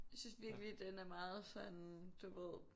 Jeg synes virkelig den er meget sådan du ved